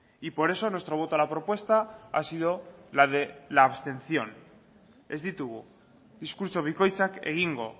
y por eso nuestro voto a la propuesta ha sido la de la abstención ez ditugu diskurtso bikoitzak egingo